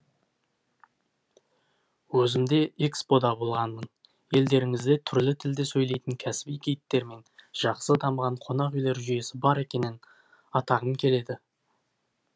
өзім де экспо да болғанмын елдеріңізде түрлі тілде сөйлейтін кәсіби гидтер мен жақсы дамыған қонақүйлер жүйесі бар екенін атағым келеді